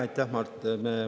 Aitäh, Mart!